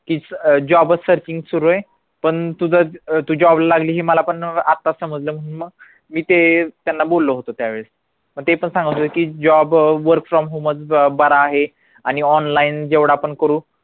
की अं job searching सुरु ये पण तुझं तू job ला लागली ही मला पण आताच समजलं म्हणून मग मी ते त्यांना बोलो होतो त्यावेळेस मग ते पण सांगत होते की job work from home मधून बरा आहे आणि online जेवढा आपण करू